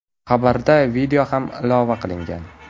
Xabarga video ham ilova qilingan.